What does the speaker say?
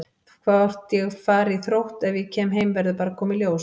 Hvort ég fari í Þrótt ef ég kem heim verður bara að koma í ljós.